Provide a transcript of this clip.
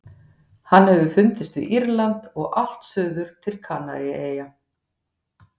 Hann hefur fundist við Írland og allt suður til Kanaríeyja.